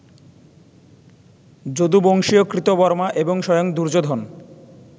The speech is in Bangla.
যদুবংশীয় কৃতবর্মা এবং স্বয়ং দুর্যোধন